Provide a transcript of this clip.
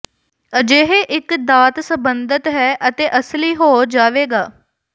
ਅਜਿਹੇ ਇੱਕ ਦਾਤ ਸੰਬੰਧਤ ਹੈ ਅਤੇ ਅਸਲੀ ਹੋ ਜਾਵੇਗਾ